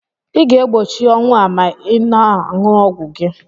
Ị ga-egbochi ọnwụ a ma ị na-ṅụ ọgwụ gị.